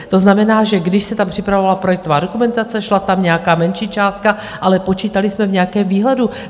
To znamená, že když se tam připravovala projektová dokumentace, šla tam nějaká menší částka, ale počítali jsme v nějakém výhledu.